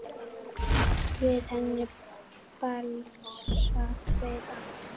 Við henni blasa tveir aftur